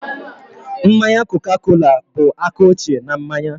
Mmanya Coca-Cola bụ aka ochie n'manya